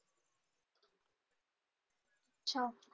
अच्छा.